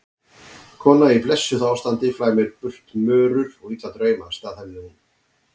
Kona í blessuðu ástandi flæmir burt mörur og illa drauma, staðhæfði hún.